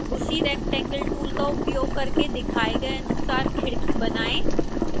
उसी rectangle tool का उपयोग करके दिखाए गए अनुसार खिड़की बनाएँ